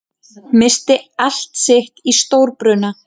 Missti allt sitt í stórbruna